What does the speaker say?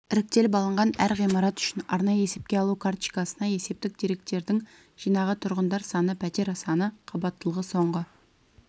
іріктеліп алынған әр ғимарат үшін арнайы есепке алу карточкасына есептік деректердің жинағы тұрғындар саны пәтер саны қабаттылығы соңғы